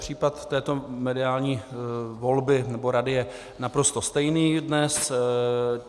Případ této mediální volby, nebo rady je naprosto stejný dnes.